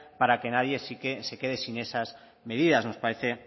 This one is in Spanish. para que nadie se quede sin esas medidas nos parece